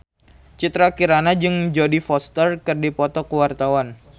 Citra Kirana jeung Jodie Foster keur dipoto ku wartawan